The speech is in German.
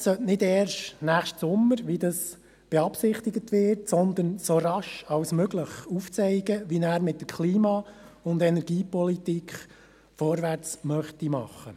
Der Regierungsrat sollte nicht erst nächsten Sommer, wie das beabsichtigt wird, sondern so rasch wie möglich aufzeigen, wie er mit der Klima- und Energiepolitik vorwärtsmachen möchte.